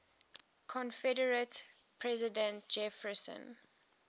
confederate president jefferson